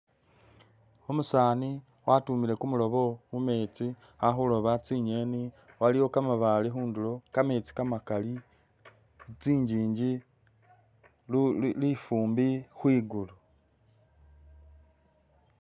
Umusani watumile kumulobo mumetsi ali khuloba tsi'ngeni waliwo kamabale khundulo kametsi kamakali tsi njinji lifumbi khwigulu